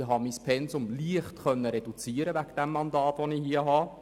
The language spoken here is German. Ich habe mein Pensum wegen des hiesigen Mandats leicht reduzieren können.